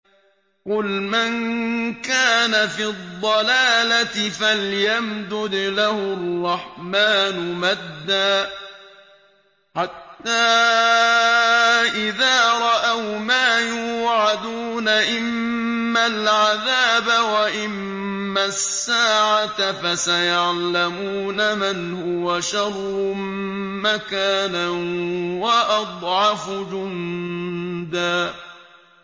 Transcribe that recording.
قُلْ مَن كَانَ فِي الضَّلَالَةِ فَلْيَمْدُدْ لَهُ الرَّحْمَٰنُ مَدًّا ۚ حَتَّىٰ إِذَا رَأَوْا مَا يُوعَدُونَ إِمَّا الْعَذَابَ وَإِمَّا السَّاعَةَ فَسَيَعْلَمُونَ مَنْ هُوَ شَرٌّ مَّكَانًا وَأَضْعَفُ جُندًا